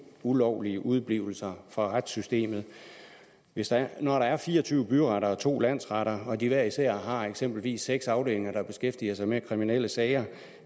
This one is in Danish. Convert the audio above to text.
ulovlige udeblivelser fra retssystemet når der er fire og tyve byretter og to landsretter og de hver især har eksempelvis seks afdelinger der beskæftiger sig med kriminelle sager